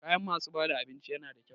Kayan masu bada abinci yana da kyau.